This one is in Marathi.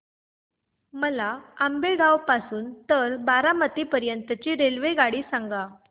मला आंबेगाव पासून तर बारामती पर्यंत ची रेल्वेगाडी सांगा